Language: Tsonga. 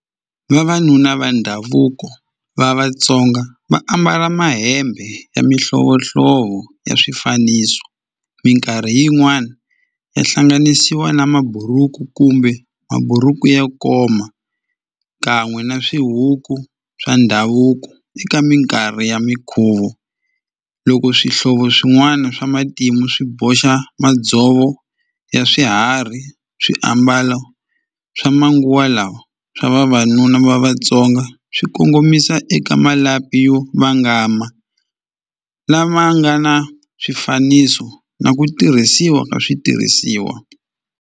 Vavanuna va ndhavuko va Vatsonga va ambala mahembe ya mihlovohlovo ya swifaniso minkarhi yin'wani ya hlanganisiwa na maburuku kumbe maburuku ya koma kan'we na swihuku swa ndhavuko eka minkarhi ya mikhuvo loko swihlovo swin'wana swa matimu swi boxa madzovo ya swiharhi swiambala swa manguva lawa swa vavanuna va Vatsonga swi kongomisa eka malapi yo vangama lama nga na swifaniso na ku tirhisiwa ka switirhisiwa.